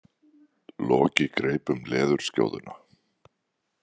Loki greip um leðurskjóðuna.